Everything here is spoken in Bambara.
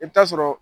I bɛ taa sɔrɔ